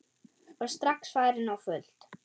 Og strax farin á fullt.